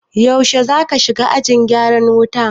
Yaushe zaka shiga ajin gyaran wuta?